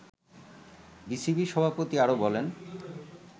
BCB সভাপতি আরো বলেন